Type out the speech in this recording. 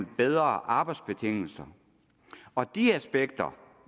bedre arbejdsbetingelser og de aspekter